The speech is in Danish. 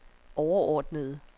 overordnede